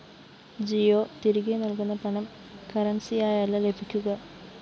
ജിയോ തിരികെ നല്‍കുന്ന പണം കറന്‍സിയായല്ല ലഭിക്കുക